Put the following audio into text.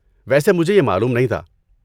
ویسے مجھے یہ معلوم نہیں تھا۔